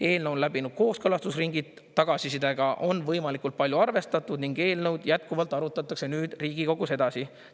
Eelnõu on läbinud kooskõlastusringid, tagasisidega on võimalikult palju arvestatud ning eelnõu jätkuvalt arutatakse nüüd Riigikogus edasi.